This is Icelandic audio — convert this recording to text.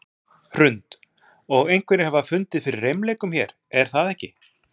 Hrund: Og einhverjir hafa fundið fyrir reimleikum hér, er það ekki?